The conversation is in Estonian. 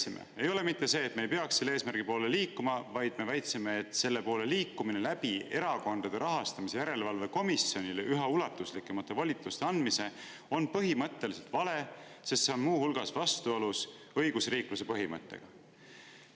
Me ei väitnud seda, et me ei peaks selle eesmärgi poole liikuma, vaid me väitsime, et selle poole liikumine läbi Erakondade Rahastamise Järelevalve Komisjonile üha ulatuslikumate volituste andmise on põhimõtteliselt vale, sest see on muu hulgas vastuolus õigusriikluse põhimõttega.